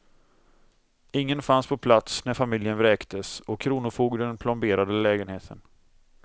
Ingen fanns på plats när familjen vräktes och kronofogden plomberade lägenheten.